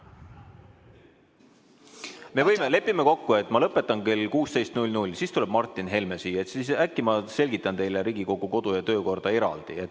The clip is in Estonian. Me võime leppida kokku, et ma lõpetan siin kell 16, siis tuleb Martin Helme siia ja äkki ma selgitan teile Riigikogu kodu- ja töökorda eraldi.